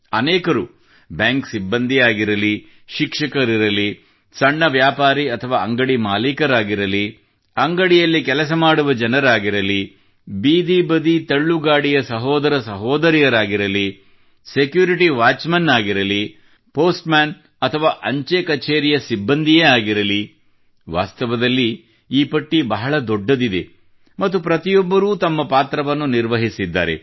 ಅನೇಕರು ಬ್ಯಾಂಕ್ ಸಿಬ್ಬಂದಿಯೇ ಆಗಿರಲಿ ಶಿಕ್ಷಕರಿರಲಿ ಸಣ್ಣ ವ್ಯಾಪಾರಿ ಅಥವಾ ಅಂಗಡಿ ಮಾಲೀಕರಾಗಿರಲಿ ಅಂಗಡಿಯಲ್ಲಿ ಕೆಲಸ ಮಾಡುವ ಜನರಾಗಿರಲಿ ಬೀದಿ ಬದಿ ತಳ್ಳುಗಾಡಿಯ ವ್ಯಾಪಾರಿಗಳಿರಲಿ ಸೆಕ್ಯೂರಿಟಿ ವಾಚ್ ಮೆನ್ ಆಗಿರಲಿ ಅಥವಾ ಪೋಸ್ಟ್ ಮೆನ್ ಅಥವಾ ಅಂಚೆ ಕಚೇರಿಯ ಸಿಬ್ಬಂದಿಯೇ ಆಗಿರಲಿ ವಾಸ್ತವದಲ್ಲಿ ಈ ಪಟ್ಟಿ ಬಹಳ ದೊಡ್ಡದಿದೆ ಮತ್ತು ಪ್ರತಿಯೊಬ್ಬರೂ ತಮ್ಮ ಪಾತ್ರವನ್ನು ನಿರ್ವಹಿಸಿದ್ದಾರೆ